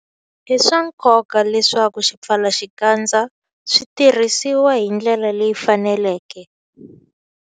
I swa nkoka leswaku swipfalaxikandza swi tirhisiwa hi ndlela leyi faneleke.